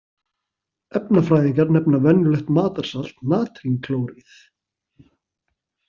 Efnafræðingar nefna venjulegt matarsalt natrínklóríð.